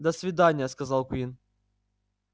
до свидания сказал куинн